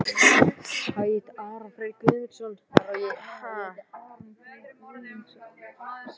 Okkur fannst vart annað koma til greina.